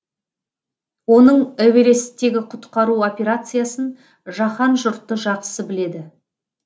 оның эвересттегі құтқару операциясын жаһан жұрты жақсы біледі